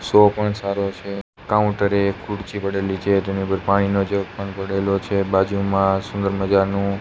show પણ સારો છે કાઉન્ટરે ખુરશી પડેલી છે તેની ઉપર પાણીનો જગ પણ પડેલો છે બાજુમાં સુંદર મજાનું--